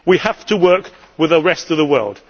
We have to work with the rest of the world.